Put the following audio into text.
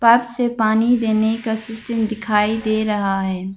Park से पानी देने का सिस्टम दिखाई दे रहा है।